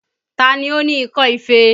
Ta ni ó ní ikọ́ ife?